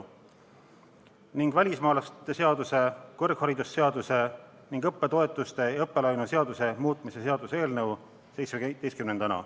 Ja viimaseks on välismaalaste seaduse, kõrgharidusseaduse ning õppetoetuste ja õppelaenu seaduse muutmise seaduse eelnõu.